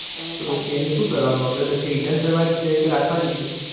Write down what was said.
પછી એનું શું કરવાનું અગરબતી return કરવાની છે કે રાખવાની છે